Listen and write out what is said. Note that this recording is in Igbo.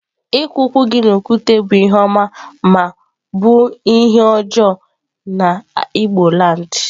Iku ukwu gi n'okwute bu ihe oma ma obu ihe ojoo na igboland.